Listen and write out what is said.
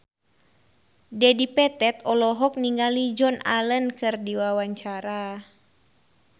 Dedi Petet olohok ningali Joan Allen keur diwawancara